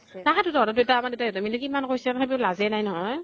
তাহাতো । তহঁতৰ দেউতা আমাৰ দেউতা হঁতে মানে মিলি কিমান কৈছে । সেইতো লাজে নাই নহয় ।